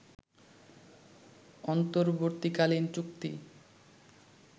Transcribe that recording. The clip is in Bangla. অন্তর্বর্তীকালীন চুক্তি